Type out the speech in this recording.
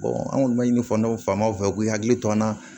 an kɔni ma ɲini fana ma fɛ u k'u hakili to an na